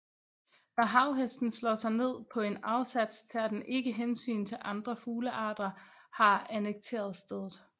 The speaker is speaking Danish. Når havhesten slår sig ned på en afsats tager den ikke hensyn til at andre fuglearter har annekteret stedet